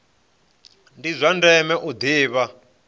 ndi zwa ndeme u ḓivha